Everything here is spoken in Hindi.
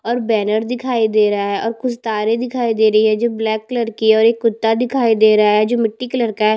और बैनर दिखाई दे रहा है और कुछ तारे दिखाई दे रही है जो ब्लैक कलर की है और एक कुर्ता दिखाई दे रहा है जो मिट्टी कलर का है।